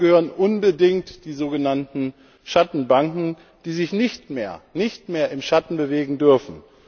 Dazu gehören unbedingt die sogenannten Schattenbanken, die sich nicht mehr im Schatten bewegen dürfen.